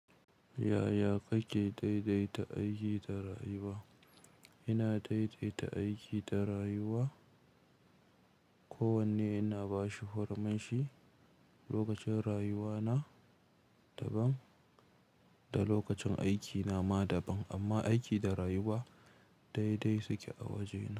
Yaya kake daidaita aiki da rayuwa? Ina daidaita aiki da rayuwa. Ko wanne ina bashi hurminshi. Lokacin rayuwa na daban da lokacin aiki na ma daban, amma aiki da rayuwa dai dai suke a wajena.